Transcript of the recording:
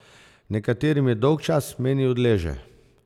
Nekaterim je dolgčas, meni odleže.